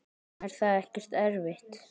Er það ekkert erfitt?